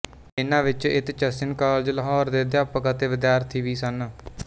ਇਨ੍ਹਾਂ ਵਿੱਚ Aitchison college Lahore ਦੇ ਅਧਿਆਪਕ ਅਤੇ ਵਿਦਿਆਰਥੀ ਵੀ ਸਨ